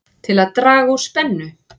Til að draga úr spennu